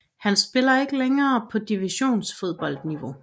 Han spiller ikke længere på divisionsfodboldniveau